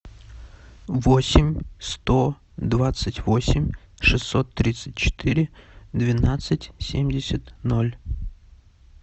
восемь сто двадцать восемь шестьсот тридцать четыре двенадцать семьдесят ноль